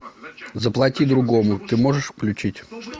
заплати другому ты можешь включить